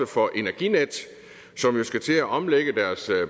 for energinet som jo skal til at omlægge